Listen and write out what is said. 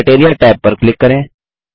criteria tab पर click करें